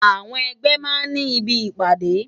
Awòn ègbè má n ni ibi ipàdé